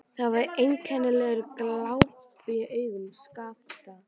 Það var einkennilegur glampi í augum Skapta.